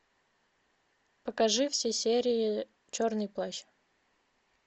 покажи все серии черный плащ